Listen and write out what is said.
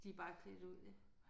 De bare klædt ud ja